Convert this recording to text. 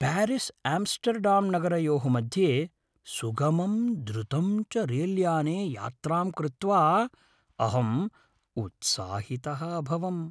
प्यारिस्आम्स्टर्डाम्नगरयोः मध्ये सुगमं द्रुतं च रेलयाने यात्रां कृत्वा अहं उत्साहितः अभवम्।